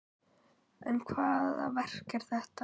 En hvaða verk er þetta?